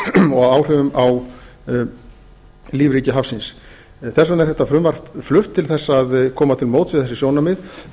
og áhrifum á lífríki hafsins þess vegna er þetta frumvarp flutt til þess að koma til móts við þessi sjónarmið